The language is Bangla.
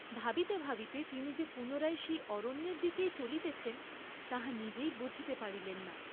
ভাবিতে ভাবিতে তিনি যে পুনরায় সেই অরণ্যের দিকেই চলিতেছেন, তাহা নিজেই বুঝিতে পারিলেন না।